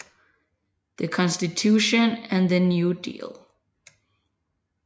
The Constitution and the New Deal